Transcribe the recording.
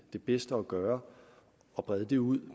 er bedst at gøre og brede det ud